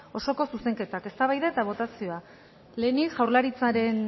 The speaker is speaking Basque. osoko zuzenketak eztabaida eta botazioa lehenik jaurlaritzaren